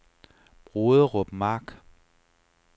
Broderup Mark